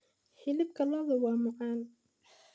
Hilibka lo'da waa caan.